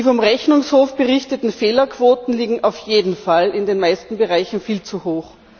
Die vom Rechnungshof berichteten Fehlerquoten liegen auf jeden Fall in den meisten Bereichen viel zu hoch.